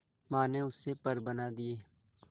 मां ने उससे पर बना दिए